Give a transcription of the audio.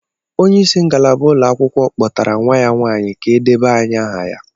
Onye isi ngalaba ụlọakwụkwọ kpọtara nwa ya nwanyị ka e debanye aha ya